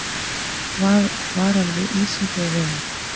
Varað við ísingu á vegum